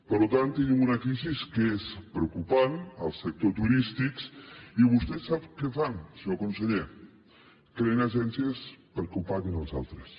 per tant tenim una crisi que és preocupant al sector turístic i vostès sap què fan senyor conseller creen agències perquè ho paguin els altres